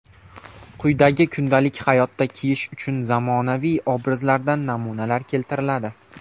Quyida kundalik hayotda kiyish uchun zamonaviy obrazlardan namunalar keltiriladi.